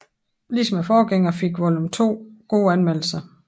Ligesom forgængeren fik Volume 2 gode anmeldelser